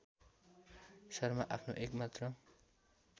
शर्मा आफ्नो एकमात्र